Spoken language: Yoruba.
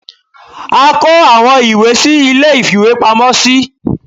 a kọ awọn ìwé sí ìlé ìfíwepámọ sí.